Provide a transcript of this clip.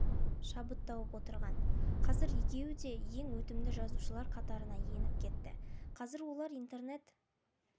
шабыт тауып отырған қазір екеуі де ең өтімді жазушылар қатарына еніп кетті қазір олар интернет